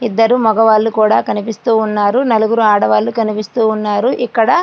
ఇద్దరు మగవాళ్ళు కూడా కనిపిస్తున్నారు నలుగురు ఆడవాళ్లు కనిపిస్తున్నారు ఇక్కడ --